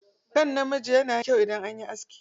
Kan namiji yana kyau idan anyi aski.